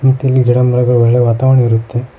ಮತ್ತೆ ಇಲ್ಲಿ ಗಿಡ ಮರಗಳು ಒಳ್ಳೆ ವಾತಾವರಣ ಇರುತ್ತೆ.